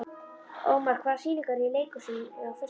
Ómar, hvaða sýningar eru í leikhúsinu á föstudaginn?